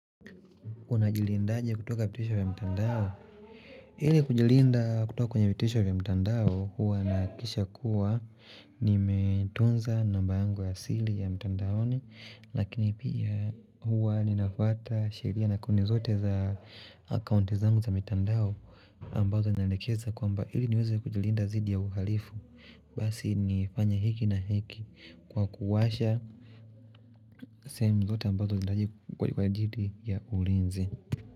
Unajilindaje kutoka vitisho vya mtandao? Ili kujilinda kutoka kwenye vitisho vya mtandao huwa nahakikisha kuwa nimetunza namba yangu ya asili ya mtandaoni lakini pia huwa ninafuata sheria na kuni zote za akaunti zangu za mitandao ambazo naelekeza kwamba ili niweze kujilinda dhidi ya uhalifu basi nifanye hiki na hiki kwa kuwasha sehemu zote ambazo nahitaji kwa jidi ya ulinzi.